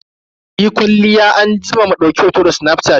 Muyi kwalliya anjima mu dauki hoto da snafshat.